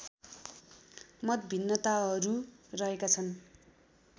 मतभिन्नताहरू रहेका छन्